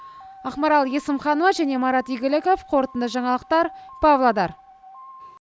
ақмарал есімханова марат игіліков қорытынды жаңалықтар павлодар